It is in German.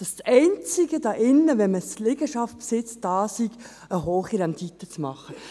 Das einzige, was ich hier höre, ist, dass Liegenschaftsbesitz dazu da sei, eine hohe Rendite zu erzielen.